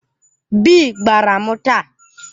Bii gbara m taa.